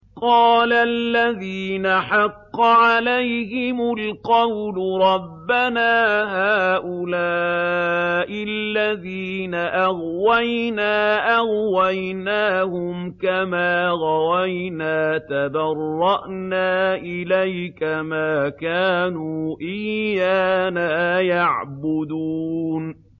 قَالَ الَّذِينَ حَقَّ عَلَيْهِمُ الْقَوْلُ رَبَّنَا هَٰؤُلَاءِ الَّذِينَ أَغْوَيْنَا أَغْوَيْنَاهُمْ كَمَا غَوَيْنَا ۖ تَبَرَّأْنَا إِلَيْكَ ۖ مَا كَانُوا إِيَّانَا يَعْبُدُونَ